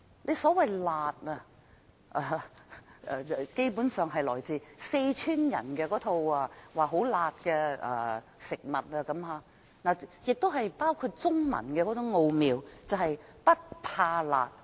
政府所謂的"辣"，基本上是來自四川人吃的很辣的食物，當中亦包含中文的奧妙，便是"不怕辣"。